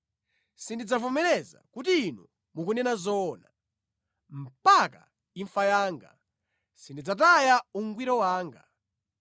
Sindidzavomereza kuti inu mukunena zoona; mpaka imfa yanga, sindidzataya ungwiro wanga.